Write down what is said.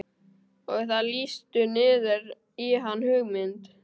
Og það lýstur niður í hann hugmynd